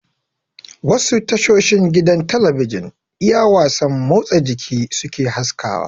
Wasu tashoshin gidan talabijin iya wasan motsa jiki suke haskawa